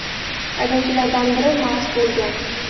Haydovchilardan biri mast bo‘lgan.